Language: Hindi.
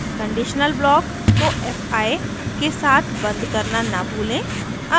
conditional block को fi के साथ बंद करना न भूलें